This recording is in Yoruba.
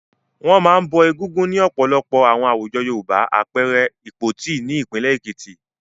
Wọ́n máa ń bọ Egúngún ní ọ̀pọ̀lọpọ̀ àwọn àwùjọ Yorùbá, àpẹẹrẹ I Ìpoti ní ìpínlẹ̀ Èkìtì.